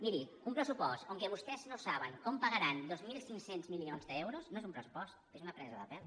miri un pressupost en què vostès no saben com pagaran dos mil cinc cents milions d’euros no és un pressupost és una presa de pèl